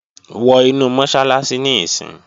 Wọ inu Mọ́sálásí níìsín!